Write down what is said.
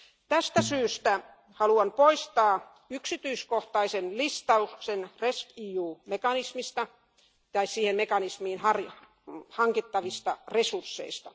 Tästä syystä haluan poistaa yksityiskohtaisen listauksen rescEU mekanismista tai mekanismiin hankittavista resursseista.